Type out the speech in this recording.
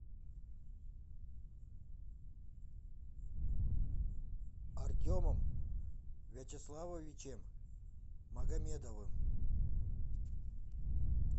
артемом вячеславовичем магомедовым